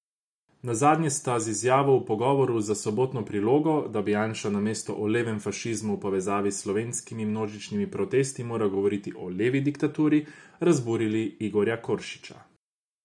Nazadnje ste z izjavo v pogovoru za Sobotno prilogo, da bi Janša namesto o levem fašizmu v povezavi s slovenskimi množičnimi protesti moral govoriti o levi diktaturi, razburili Igorja Koršiča.